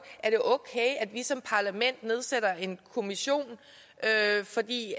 er det okay at vi som parlament nedsætter en kommission for i